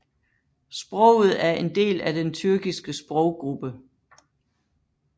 Sproget er en del af den tyrkiske sproggruppe